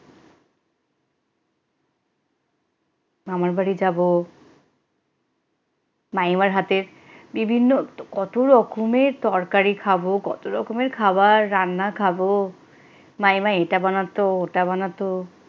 মামার বাড়ি যাব মামিমার হাতের বিভিন্ন কত রকমের তরকারি খাব কত রকমের খাবার রান্না খাব মামিমা এটা বানাতো ওটা বানাত,